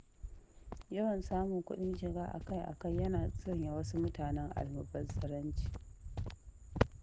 Yawan samun kuɗin shiga akai-akai, yana sanya wasu mutanen almubazzaranci